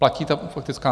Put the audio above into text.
Platí ta faktická?